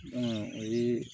o ye